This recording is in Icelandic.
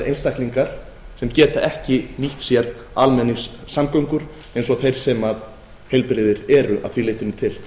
einstaklingar sem geta ekki nýtt sér almenningssamgöngur eins og þeir sem heilbrigðir eru að því leytinu til